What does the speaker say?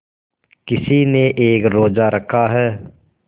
किसी ने एक रोज़ा रखा है